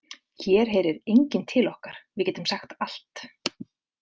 Hér heyrir enginn til okkar, við getum sagt allt